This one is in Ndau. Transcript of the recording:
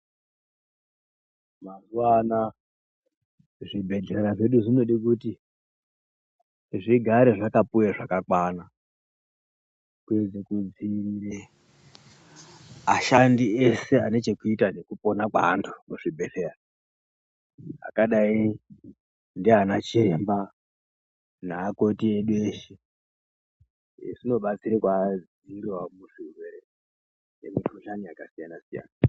Mazuwa ana zvibhehlera zvedu zvinode kuti zvigare zvakapuwe zvakakwana kuedze kudziirire ashandi ese ane chekuita nekupona kweantu muzvibhedhleya akadzi ndiana chiremba neakoti edu eshe. Izvi zvinovabatsirawo kudzivirire zvirwere nemikhuhlani yakasiyana-siyana.